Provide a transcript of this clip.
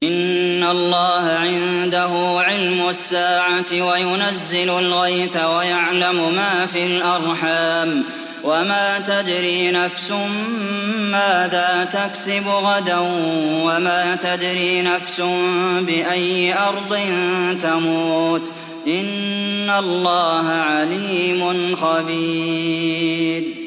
إِنَّ اللَّهَ عِندَهُ عِلْمُ السَّاعَةِ وَيُنَزِّلُ الْغَيْثَ وَيَعْلَمُ مَا فِي الْأَرْحَامِ ۖ وَمَا تَدْرِي نَفْسٌ مَّاذَا تَكْسِبُ غَدًا ۖ وَمَا تَدْرِي نَفْسٌ بِأَيِّ أَرْضٍ تَمُوتُ ۚ إِنَّ اللَّهَ عَلِيمٌ خَبِيرٌ